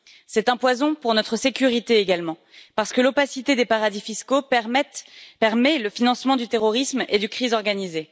C'est un poison pour notre sécurité également parce que l'opacité des paradis fiscaux permet le financement du terrorisme et du crime organisé.